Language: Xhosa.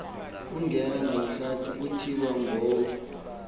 ongenabuhlanti kuthiwa ngowo